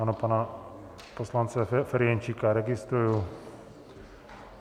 Ano, pana poslance Ferjenčíka registruji.